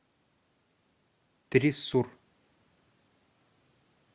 триссур